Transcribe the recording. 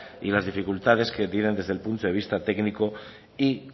y las dificultades que tienen desde el punto de vista técnico y